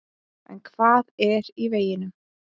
En hvað er í veginum?